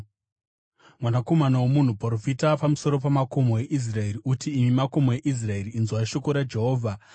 “Mwanakomana womunhu, profita pamusoro pamakomo eIsraeri uti, ‘Imi makomo eIsraeri, inzwai shoko raJehovha.